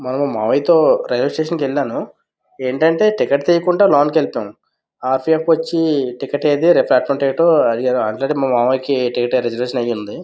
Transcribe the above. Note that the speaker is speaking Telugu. మొన్న మావయ్యతో రైల్వే స్టేషన్ కి వెళ్ళాను ఏంటంటే టికెట్ తీయకుండా లోనికి వెళ్ళిపోయాను ఆర్ సి ఎఫ్ వచ్చి టికెట్ ఏది ప్లాట్ఫామ్ టికెట్ అడిగాడు ఆల్రెడీ మా మామయ్యకి టికెట్ రిజర్వేషన్ అయి ఉంది --